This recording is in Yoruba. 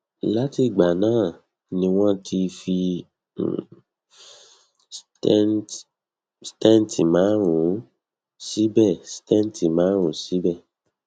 lati igba na ni won ti fi um stent marun sibe stent marun sibe